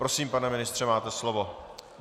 Prosím, pane ministře, máte slovo.